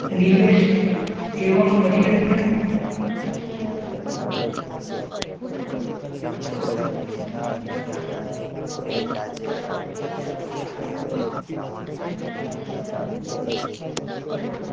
નિવેશ એવમ પર્યટન